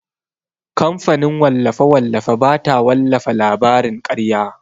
Kamfanin wallafe-wallafe bata wallafa labarin karya.